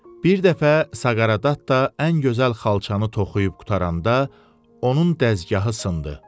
Bir dəfə Saqareddatta ən gözəl xalçanı toxuyub qurtaranda, onun dəzgahı sındı.